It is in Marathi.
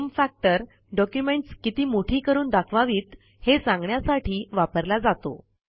झूम फॅक्टर डॉक्युमेंटस् किती मोठी करून दाखवावीत हे सांगण्यासाठी वापरला जातो